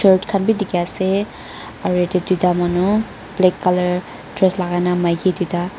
khan bidikhiase aro yatae tuita manu black colour dress lakai na maki tuita--